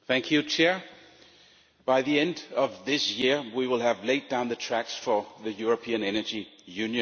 Mr President, by the end of this year we will have laid down the tracks for the European energy union.